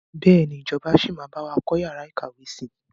Bẹ́ẹ̀ni ìjọba síí máa bawa kọ́ yàrá ìkàwé si.